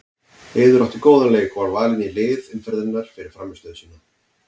Eiður átti góðan leik og var valinn í lið umferðarinnar fyrir frammistöðu sína.